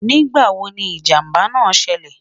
nígbà wò ní ìjàmbá nà ṣẹlẹ?